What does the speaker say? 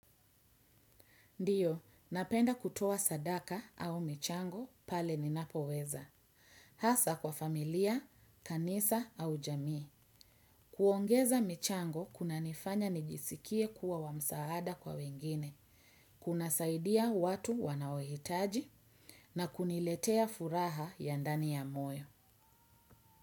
Ndiyo, napenda kutowa sadaka au michango pale ninapo weza. Hasa kwa familia, kanisa au jamii. Kuongeza michango kuna nifanya nijisikie kuwa wamsaada kwa wengine. Kuna saidia watu wanawetaji na kuniletea furaha ya ndani ya moyo.